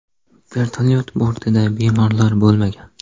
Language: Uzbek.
Vertolyot bortida bemorlar bo‘lmagan.